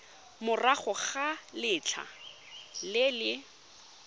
morago ga letlha le le